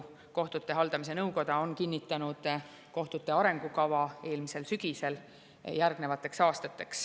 Kohtute haldamise nõukoda on kinnitanud kohtute arengukava eelmisel sügisel järgnevateks aastateks.